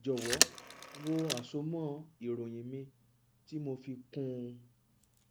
jọwọ wo àsomọ ìròyìn mi tí mo fi kún un